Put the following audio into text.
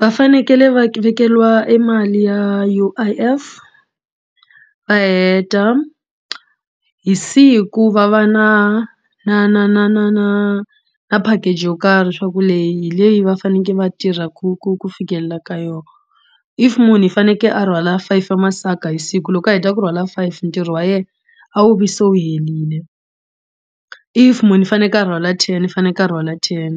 Va fanekele va vekeriwa e mali ya U_I_F va heta hi siku va va na na na na na na na package yo karhi swaku hi leyi leyi va fanekele va tirha ku ku ku fikelela ka yona if munhu i fanekele a rhwala five ya masaka hi siku loko a heta ku rhwala five ntirho wa yena a wu vi se wu helile if munhu i faneke a rhwala ten i faneke ni ka rhwala ten